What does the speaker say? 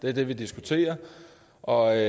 er det vi diskuterer og